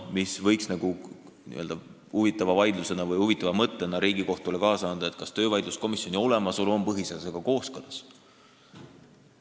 Nii-öelda huvitava mõtteainena võiks Riigikohtule kaasa anda küsimuse, kas töövaidluskomisjoni olemasolu on põhiseadusega kooskõlas.